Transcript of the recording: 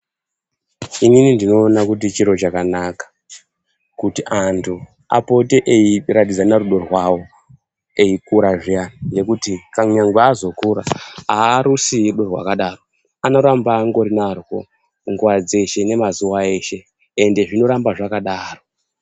Inini ndinoona kuti chiro chakanaka kuti antu apate eiratidzana rudo rwavo eikura zviyani. Ngekuti kunyangwe azokura harusii rudo rwakadaro anoramba angorunarwo nguva dzeshe nemazuva eshe, ende zvinoramba zvakadaro.